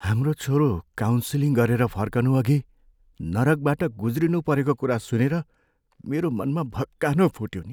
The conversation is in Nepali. हाम्रो छोरो काउन्सिलिङ गरेर फर्कनु अघि नरकबाट गुज्रिनु परेको कुरा सुनेर मेरो मनमा भक्कानो फुट्यो नि।